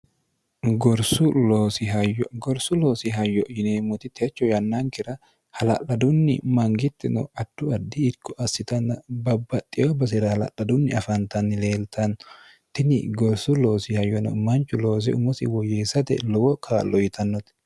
gorsu loosi hayyo yineemmoti techo yannankira hala'ladunni mangitti no attu addi itko assitanna babbaxxeyo basira halaladunni afaantanni leeltanno tini gorsu loosi hayyono manchu loose umosi woyyiessate lowo kaallo yitannote